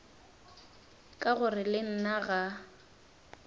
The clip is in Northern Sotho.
ka gore le nna ga